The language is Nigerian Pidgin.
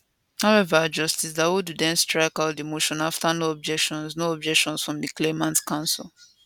however justice dawodu den strike out di motion afta no objections no objections from di claimants counsel